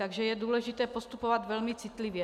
Takže je důležité postupovat velmi citlivě.